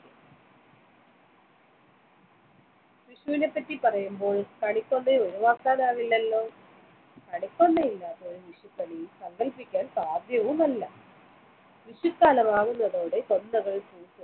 വിഷുവിന് പറ്റി പറയുമ്പോൾ കണിക്കൊന്ന ഒഴിവാക്കാനാവില്ലല്ലോ കണിക്കൊന്ന ഇല്ലാത്ത ഒരു വിഷുക്കണി സങ്കൽപ്പിക്കാൻ സാധ്യവുമല്ല വിഷുക്കാലം ആവുന്നതോടെ കൊന്നകൾ